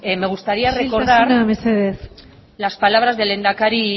me gustaría recordar isiltasuna mesedez las palabras del lehendakari